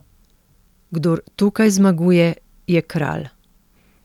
Kdor tukaj zmaguje, je kralj!